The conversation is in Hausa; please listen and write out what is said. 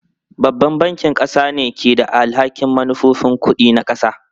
Babban bankin ƙasa ne ke da alhakin manufofin kuɗi na ƙasa.